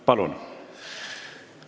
Palun!